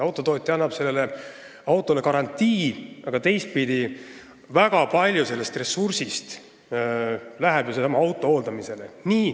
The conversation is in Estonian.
Autotootja annab autole garantii, aga teistpidi läheb ju väga palju sellest ressursist sellesama auto hooldamisele.